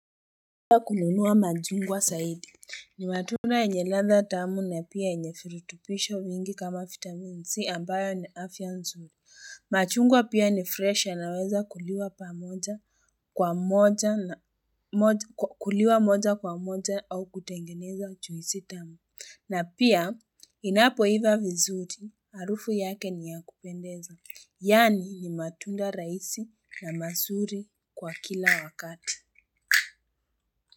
Uwa kununua machungwa zaidi. Ni matunda yenye ladha tamu na pia yenye firutupisho mingi kama vitamin C ambayo ni afya nzuri. Machungwa pia ni fresh yanaweza kuliwa pamoja kwa moja na moja kuliwa moja kwa moja au kutengeneza juisi tamu. Na pia inapoiva vizuri, harufu yake ni ya kupendeza. Yaani, ni matunda raisi na mazuri kwa kila wakati.